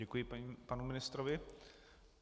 Děkuji panu ministrovi.